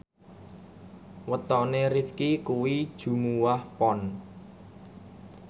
wetone Rifqi kuwi Jumuwah Pon